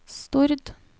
Stord